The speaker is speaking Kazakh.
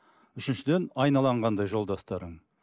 үшіншіден айналаң қандай жолдастарың